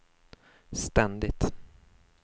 ständigt